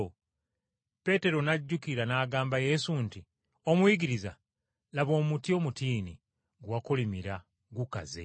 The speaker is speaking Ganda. Peetero n’ajjukira n’agamba Yesu nti, “Omuyigiriza, laba omutiini gwe wakolimira gukaze!”